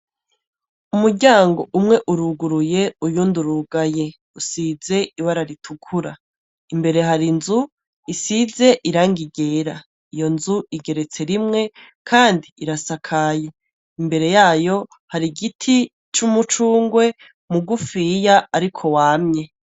Umuryango umwe uruguruye , uyundi urugaye. Usize ibara ritukura . Imbere hari inzu isize irangi ryera. Iyo nzu igeretse rimwe kandi irasakaye. Imbere yayo har'igiti c'umucungwe mugufiya ariko wamye.